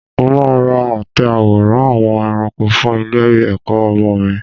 Mo máa ra àtẹ àwòrán àwọn ẹranko fún ilé-ẹ̀kọ́ ọmọ mi.